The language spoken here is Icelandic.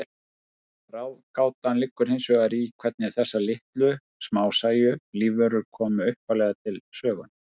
Ráðgátan liggur hins vegar í hvernig þessar litlu, smásæju lífverur komu upphaflega til sögunnar.